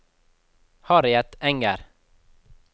Harriet Enger